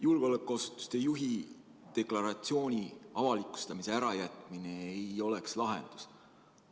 Julgeolekuasutuste juhi deklaratsiooni avalikustamise ärajätmine ei oleks lahendus.